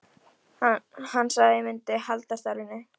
Hann sagði að ég myndi halda starfinu.